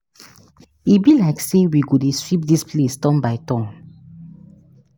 E be like say we go dey sweep dis place turn by turn